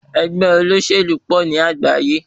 Ẹgbẹ́ olóṣèlú pọ̀ ní àgbáyé.